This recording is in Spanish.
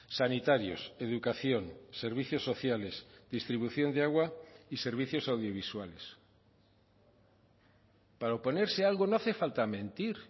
sanitarios educación servicios sociales distribución de agua y servicios audiovisuales para oponerse a algo no hace falta mentir